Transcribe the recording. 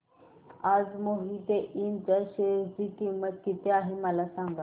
आज मोहिते इंड च्या शेअर ची किंमत किती आहे मला सांगा